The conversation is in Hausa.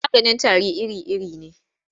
Maganin tari iri-iri ne.